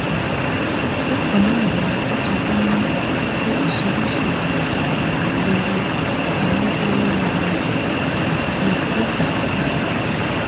bákan náà ni adèjọbí ní oríṣiríṣiì ohun ìjàǹbá olóró ni wọn bá lọwọ wọn àti igbó pàápàá